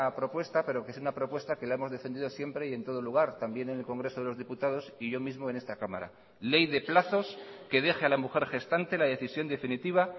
propuesta pero que es una propuesta que la hemos defendido siempre y en todo lugar también en el congreso de los diputados y yo mismo en esta cámara ley de plazos que deje a la mujer gestante la decisión definitiva